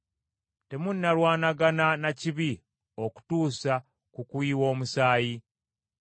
Temunnalwanagana na kibi okutuusa ne kukuyiwa omusaayi!